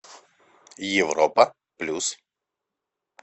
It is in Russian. европа плюс